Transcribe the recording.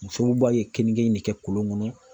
Musow b'a ye keninge in bɛ kɛ kolon kɔnɔ.